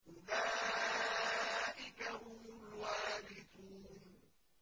أُولَٰئِكَ هُمُ الْوَارِثُونَ